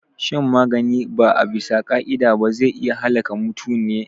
Shan magani ba abisa ka'ida ba zai iya halaka mutune